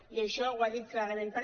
i això ho ha dit clarament si